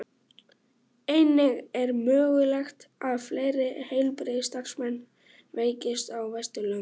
Einnig er mögulegt að fleiri heilbrigðisstarfsmenn veikist á Vesturlöndum.